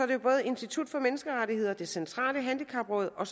det både institut for menneskerettigheder det centrale handicapråd og